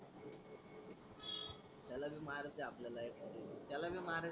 त्याला बी मारते आपल्या एकाद्या दिवसी त्याला बी मार